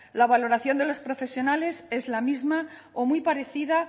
la valoración de los profesionales es la misma o muy parecida